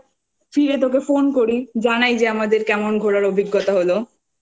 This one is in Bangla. ফিরে তোকে phone করি জানাই যে আমাদের কেমন ঘোরার অভিজ্ঞতা হল।